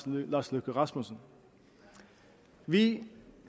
lars løkke rasmussen vi